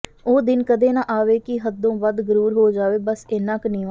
ਉਹ ਦਿਨ ਕਦੇ ਨਾ ਆਵੇ ਕਿ ਹੱਦੋਂ ਵੱਧ ਗਰੂਰ ਹੋ ਜਾਵੇ ਬਸ ਏਨਾ ਕੁ ਨੀਵਾਂ